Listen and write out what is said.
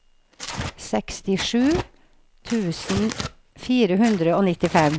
sekstisju tusen fire hundre og nittifem